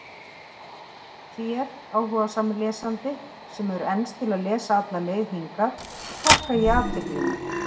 Þér, áhugasami lesandi, sem hefur enst til að lesa alla leið hingað, þakka ég athyglina.